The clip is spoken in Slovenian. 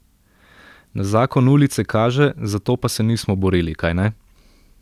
Na zakon ulice kaže, za to pa se nismo borili, kajne.